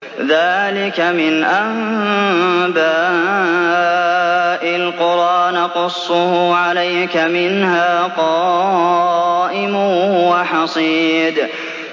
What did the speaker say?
ذَٰلِكَ مِنْ أَنبَاءِ الْقُرَىٰ نَقُصُّهُ عَلَيْكَ ۖ مِنْهَا قَائِمٌ وَحَصِيدٌ